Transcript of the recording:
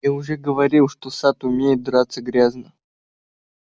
я уже говорил что сатт умеет драться грязно